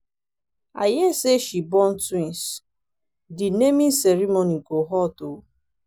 i hear say she born twins. the naming ceremony go hot oo